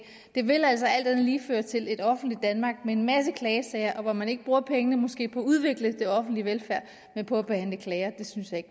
det vil altså alt andet lige føre til et offentligt danmark med en masse klagesager hvor man måske ikke bruger pengene på at udvikle den offentlige velfærd men på at behandle klager det synes jeg